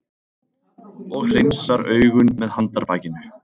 Og hreinsar augun með handarbakinu.